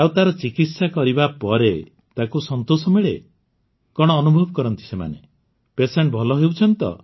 ଆଉ ତାର ଚିକିତ୍ସା କରିବା ପରେ ତାକୁ ସନ୍ତୋଷ ମିଳେ କଣ ଅନୁଭବ କରନ୍ତି ପେସେଣ୍ଟ ଭଲ ହେଉଛନ୍ତି